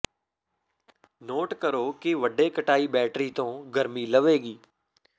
note ਕਰੋ ਕਿ ਵੱਡੇ ਕਟਾਈ ਬੈਟਰੀ ਤੋਂ ਗਰਮੀ ਲਵੇਗੀ